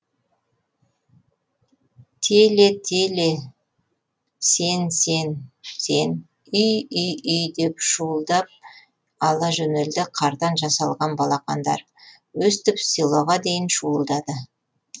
теле теле теле теле сен сен сен үй үй үй деп шуылдап ала жөнелді қардан жасалған балақандар өстіп селоға дейін шуылдады